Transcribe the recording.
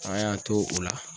An y'an to o la.